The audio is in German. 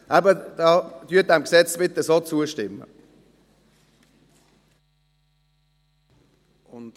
Eben: Bitte stimmen Sie diesem Gesetz so zu.